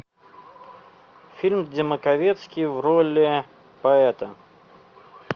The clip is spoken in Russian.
фильм где маковецкий в роли поэта